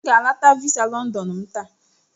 M ga-anakọta visa London m taa.